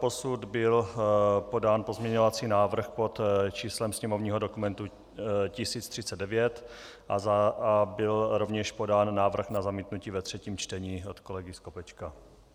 Doposud byl podán pozměňovací návrh pod číslem sněmovního dokumentu 1039 a byl rovněž podán návrh na zamítnutí ve třetím čtení od kolegy Skopečka.